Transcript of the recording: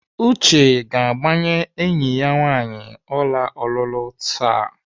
Uche ga-agbanye enyi ya nwaanyị ọla ọlụlụ taa.